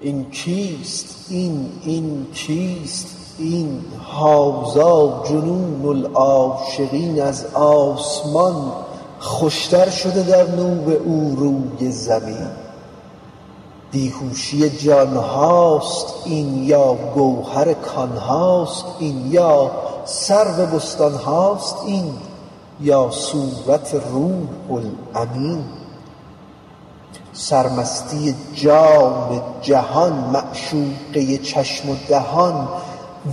این کیست این این کیست این هذا جنون العاشقین از آسمان خوشتر شده در نور او روی زمین بی هوشی جان هاست این یا گوهر کان هاست این یا سرو بستان هاست این یا صورت روح الامین سرمستی جان جهان معشوقه چشم و دهان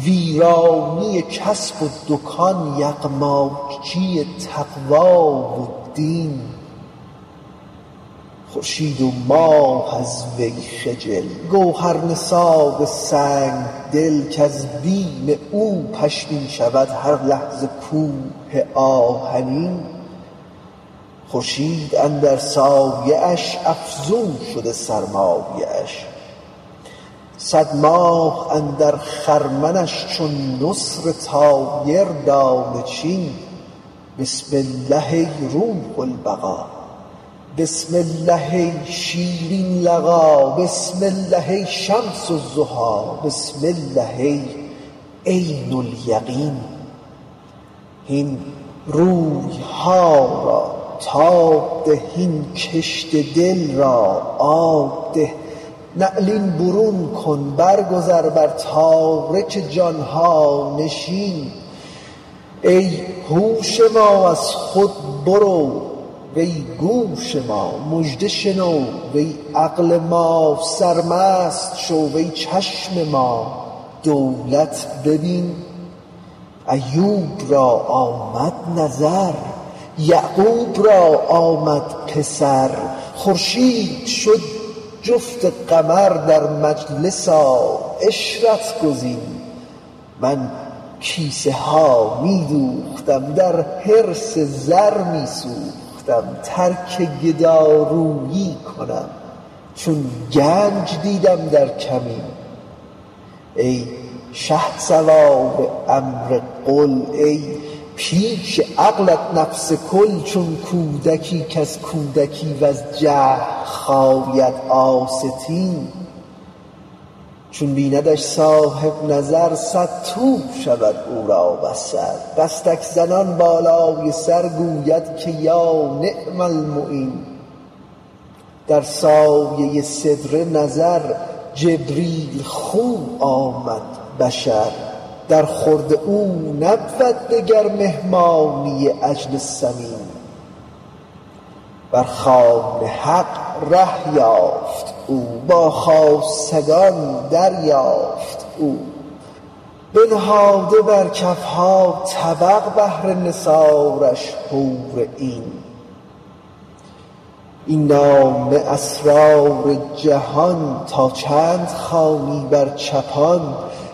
ویرانی کسب و دکان یغماجی تقوا و دین خورشید و ماه از وی خجل گوهر نثار سنگ دل کز بیم او پشمین شود هر لحظه کوه آهنین خورشید اندر سایه اش افزون شده سرمایه اش صد ماه اندر خرمنش چون نسر طایر دانه چین بسم الله ای روح البقا بسم الله ای شیرین لقا بسم الله ای شمس الضحا بسم الله ای عین الیقین هین روی ها را تاب ده هین کشت دل را آب ده نعلین برون کن برگذر بر تارک جان ها نشین ای هوش ما از خود برو وی گوش ما مژده شنو وی عقل ما سرمست شو وی چشم ما دولت ببین ایوب را آمد نظر یعقوب را آمد پسر خورشید شد جفت قمر در مجلس آ عشرت گزین من کیسه ها می دوختم در حرص زر می سوختم ترک گدارویی کنم چون گنج دیدم در کمین ای شهسوار امر قل ای پیش عقلت نفس کل چون کودکی کز کودکی وز جهل خاید آستین چون بیندش صاحب نظر صدتو شود او را بصر دستک زنان بالای سر گوید که یا نعم المعین در سایه سدره نظر جبریل خو آمد بشر درخورد او نبود دگر مهمانی عجل سمین بر خوان حق ره یافت او با خاصگان دریافت او بنهاده بر کف ها طبق بهر نثارش حور عین این نامه اسرار جان تا چند خوانی بر چپان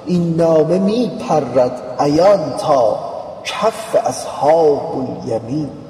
این نامه می پرد عیان تا کف اصحاب الیمین